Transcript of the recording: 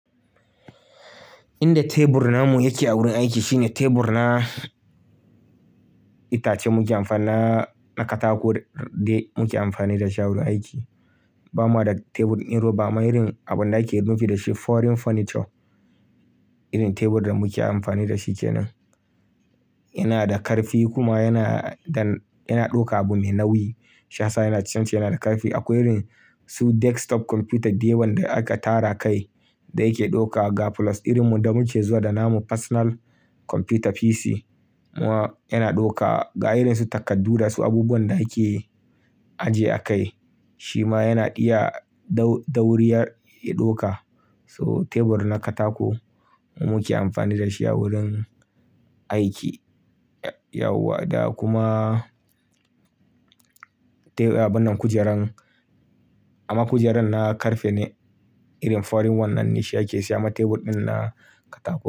Inda tebur namu yake a wurin aiki shine tebur na itace muke amfana na katako dai muke amfani da shi a wurin aiki. Ba ma da tebur ɗin roba, amma irin abunda ake nufi da shi foreign furniture. Irin tebur da muke amfani da shi kenan. Yana da ƙarfi kuma yana, dan yana ɗauka abu mai nauyi. Shiyasa yana ciyamci yana da karfi. Akwai irin su desktop computer dayawan da aka tara kai da yake ɗauka ga plus irin mu da muke zuwa da namu personal computer PC. Muwa yana ɗauka ga irin su takardu da su abubuwan da ake ajje a kai. Shi ma yana iya da-dauriya ya ɗauka. So tebur na katako muke amfani da shi a wurin aiki. Ya-yawwa da kuma te-- abunnan kujeran. Amma kujeran na ƙarfe ne. Irin foreign one nan ne shi ake siya amma teburɗin na katako.